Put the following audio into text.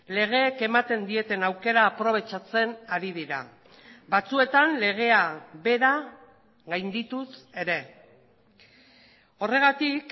legeek ematen dieten aukera aprobetxatzen ari dira batzuetan legea bera gaindituz ere horregatik